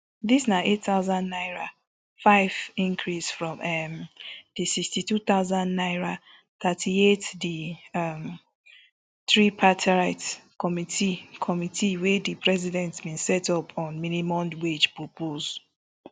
dis na eight thousand naira five increase from um di sixty-two thousand naira thirty-eight di um tripartite committee committee wey di president bin set up on minimum wage propose